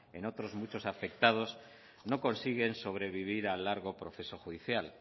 en otros muchos afectados no consiguen sobrevivir a largo proceso judicial